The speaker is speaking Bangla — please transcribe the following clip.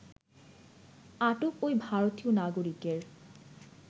আটক ঐ ভারতীয় নাগরিকের